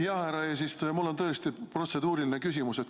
Jah, härra eesistuja, mul on tõesti protseduuriline küsimus.